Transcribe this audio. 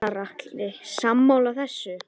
Gunnar Atli: Sammála þessu?